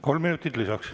Kolm minutit lisaks.